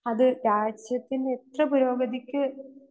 speaker 2 അത് രാഷ്ട്രത്തിന്റെ ഉറ്റ പുരോഗതിക്ക്